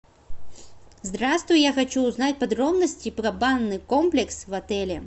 здравствуй я хочу узнать подробности про банный комплекс в отеле